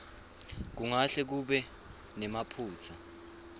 kungahle kube nemaphutsa